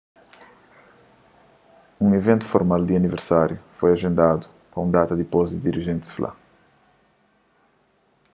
un iventu formal di aniversáriu foi ajendadu pa un data dipôs dirijentis fla